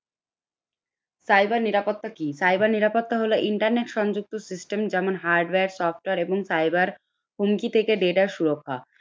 cyber নিরাপত্তা কি? cyber নিরাপত্তা হল internet সংযুক্ত system যেমন hardware, software এবং Cyber হুমকি থেকে data সুরক্ষা।